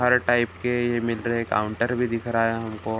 हर type के ये हैं काउंटर भी दिख रहा है हमको।